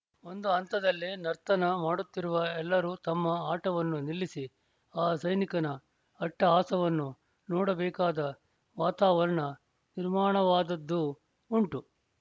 ಒಂದು ಹಂತದಲ್ಲಿ ನರ್ತನ ಮಾಡುತ್ತಿರುವ ಎಲ್ಲರೂ ತಮ್ಮ ಆಟವನ್ನು ನಿಲ್ಲಿಸಿ ಆ ಸೈನಿಕನ ಅಟ್ಟಹಾಸವನ್ನು ನೋಡಬೇಕಾದ ವಾತಾವರಣ ನಿರ್ಮಾಣವಾದದ್ದೂ ಉಂಟು